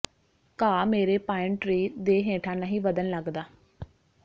ਘਾਹ ਮੇਰੇ pine tree ਦੇ ਹੇਠਾਂ ਨਹੀਂ ਵਧਣ ਲੱਗਦਾ